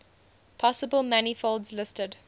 possible manifolds listed